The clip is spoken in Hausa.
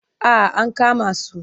Ah ankama su.